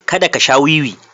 Kada ka sha wiwi.